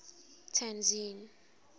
tzaneen